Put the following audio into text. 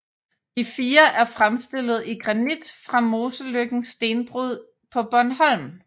De fire er fremstillet i granit fra Moseløkken Stenbrud på Bornholm